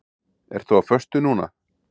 Ertu á föstu núna?